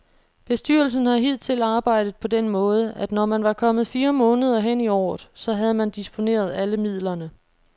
Bestyrelsen har hidtil arbejdet på den måde, at når man var kommet fire måneder hen i året, så havde man disponeret alle midlerne.